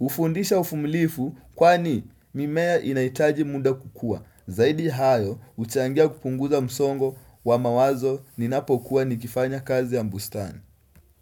Ufundisha uvumilivu kwa ni mimea inahitaji muda kukua. Zaidi hayo, huchangia kupunguza msongo wa mawazo ni napokuwa nikifanya kazi ya bustani.